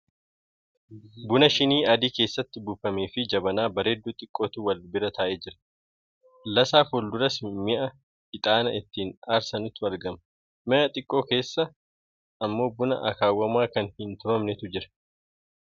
Buna shinii adii keessatti buufameefi jabanaa bareedduu xiqqootu wal bira taa'ee jira. Iasaa fulduras mi'a ixaana itti aarsantu argama. Mi'a xiqqoo tokko keessa ammoo buna akaawamaa kan hin tumamnetu jira.